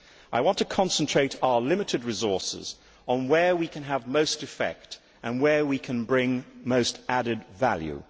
I want to concentrate our limited resources on where we can have most effect and where we can bring most added value.'